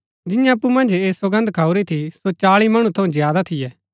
जिन्यैं अप्पु मन्ज ऐह सौगन्द खाऊरी थी सो चाळी मणु थऊँ ज्यादा थियै